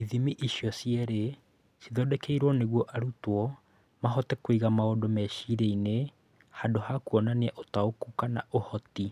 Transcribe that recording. ithimi icio cierĩ ciathondekirũo nĩguo arutwo mahote kũiga maũndũ meciria-inĩ handũ ha kuonania ũtaũku kana ũhoti.